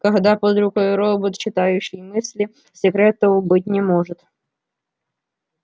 когда под рукой робот читающий мысли секретов быть не может